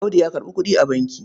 Audu ya karɓa kuɗi a banki.